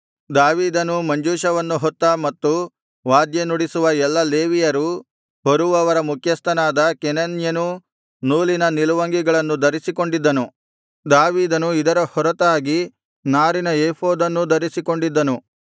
ದಾವೀದನೂ ಮಂಜೂಷವನ್ನು ಹೊತ್ತ ಮತ್ತು ವಾದ್ಯನುಡಿಸುವ ಎಲ್ಲಾ ಲೇವಿಯರೂ ಹೊರುವವರ ಮುಖ್ಯಸ್ಥನಾದ ಕೆನನ್ಯನೂ ನೂಲಿನ ನಿಲುವಂಗಿಗಳನ್ನು ಧರಿಸಿಕೊಂಡಿದ್ದನು ದಾವೀದನು ಇದರ ಹೊರತಾಗಿ ನಾರಿನ ಏಫೋದನ್ನೂ ಧರಿಸಿಕೊಂಡಿದ್ದನು